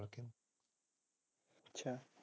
ਅਛਾ